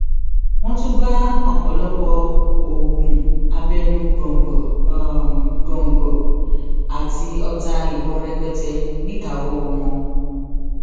wọn tún bá ọpọlọpọ oògùn abẹnú góńgó góńgó àti ọta ìbọn rẹpẹtẹ níkàáwọ wọn